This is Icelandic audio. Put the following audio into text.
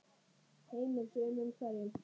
Heimir: Sumum hverjum?